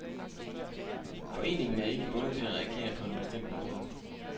Foreningen er ikke bundet til at reagere på en bestemt måde.